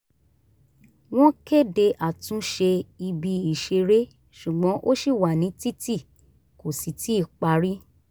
wọ́n kéde àtúnṣe ibi ìṣeré ṣùgbọ́n ó ṣì wà nítìtì kò sì tíì parí